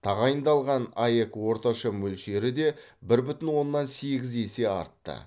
тағайындалған аәк орташа мөлшері де бір бүтін оннан сегіз есе артты